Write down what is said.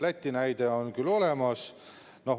Läti näide on küll olemas.